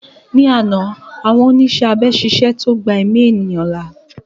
Ní àná àwọn oníṣẹ́ abẹ ṣiṣẹ́ tó gbà èmi ẹ̀yán là